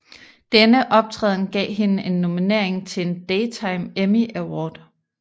Denne optræden gav hende en nominering til en Daytime Emmy Award